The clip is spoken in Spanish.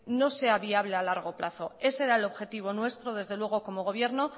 no sea viable a largo plazo ese era el objetivo nuestro desde luego como gobierno